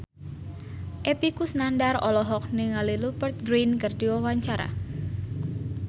Epy Kusnandar olohok ningali Rupert Grin keur diwawancara